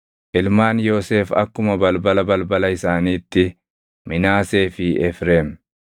Ilmaan Yoosef akkuma balbala balbala isaaniitti: Minaasee fi Efreem.